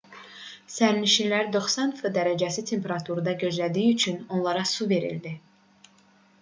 sərnişinlər 90 f dərəcə temperaturda gözlədiyi üçün onlara su verildi